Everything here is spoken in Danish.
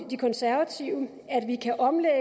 de konservative at vi kan omlægge